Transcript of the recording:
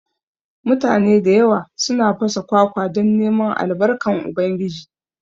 Mutane da yawa suna fasa kwakwa don neman Albarkan Ubangiji